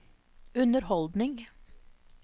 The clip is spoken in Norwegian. underholdning